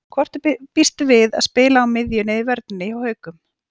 Hvort býstu við að spila á miðjunni eða í vörninni hjá Haukum?